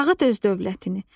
Dağıt öz dövlətini.